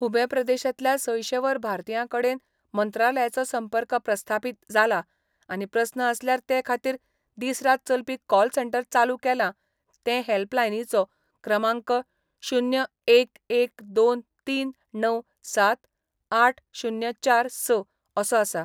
Hubei प्रदेशांतल्या सयशे वयर भारतीयां कडेन मंत्रालयाचो संपर्क प्रस्थापीत जाला आनी प्रस्न आसल्यार ते खातीर दीस रात चलपी कॉल सेंटर चालू केला ते हेल्पलायनीचो क्रमांक शुन्य एक एक दोन तीन णव सात आठ शुन्य चार स असो आसा.